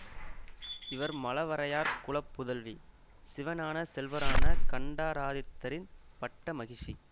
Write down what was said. இவர் மழவரையார் குல புதல்வி சிவஞானச் செல்வரான கண்டராதித்தரின் பட்ட மகிஷி